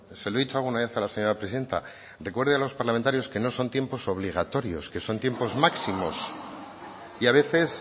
se lo he dicho alguna vez a la señora presidenta recuerde a los parlamentarios que no son tiempos obligatorios que son tiempos máximos y a veces